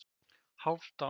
Hálfdán